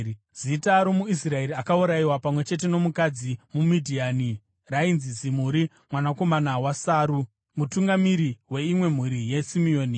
Zita romuIsraeri akaurayiwa pamwe chete nomukadzi muMidhiani rainzi Zimuri mwanakomana waSaru, mutungamiri weimwe mhuri yaSimeoni.